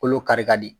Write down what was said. Kolo kari ka di